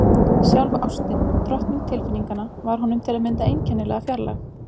Sjálf ástin, drottning tilfinninganna, var honum til að mynda einkennilega fjarlæg.